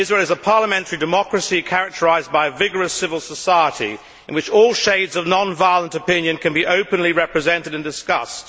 Israel is a parliamentary democracy, characterised by a vigorous civil society in which all shades of non violent opinion can be openly represented and discussed.